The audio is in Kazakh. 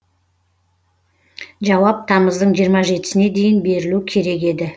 жауап тамыздың жиырма жетісіне дейін берілу керек еді